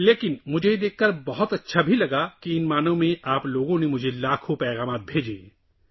لیکن مجھے یہ دیکھ کر بھی بہت خوشی ہوئی کہ آپ لوگوں نے مجھے ان مہینوں میں لاکھوں پیغامات بھیجے